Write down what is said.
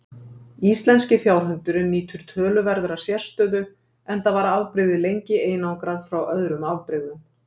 Íslenski fjárhundurinn nýtur töluverðar sérstöðu enda var afbrigðið lengi einangrað frá öðrum afbrigðum.